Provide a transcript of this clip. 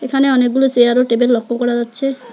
এখানে অনেকগুলো চেয়ার ও টেবিল লক্ষ করা যাচ্ছে।